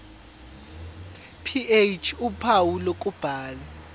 ph uphawu lokubhala